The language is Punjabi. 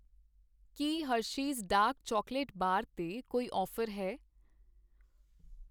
ਕੀ ਹਰਸ਼ੇਸ ਡਾਰਕ ਚਾਕਲੇਟ ਬਾਰ 'ਤੇ ਕੋਈ ਔਫ਼ਰ ਹੈ?